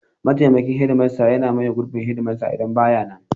Mataimakin shedimasta yana maye gurbin shedimasta idan ba ya nan.